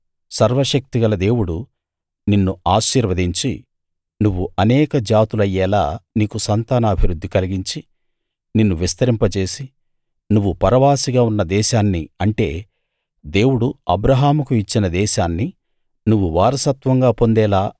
సర్వశక్తిగల దేవుడు నిన్ను ఆశీర్వదించి నువ్వు అనేక జాతులయ్యేలా నీకు సంతానాభివృద్ధి కలిగించి నిన్ను విస్తరింపజేసి నువ్వు పరవాసిగా ఉన్న దేశాన్ని అంటే దేవుడు అబ్రాహాముకు ఇచ్చిన దేశాన్ని నువ్వు వారసత్వంగా పొందేలా